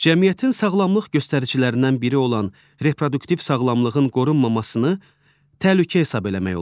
Cəmiyyətin sağlamlıq göstəricilərindən biri olan reproduktiv sağlamlığın qorunmamasını təhlükə hesab eləmək olar.